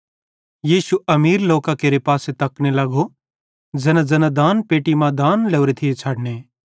यीशु अमीर लोकां केरे पासे तकने लगो ज़ैनाज़ैना दानपेट्टी मां दान लोरे थिये छ़डने